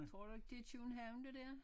Tror du ikke det er København det dér?